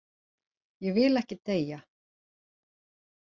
Ég vil ekki deyja.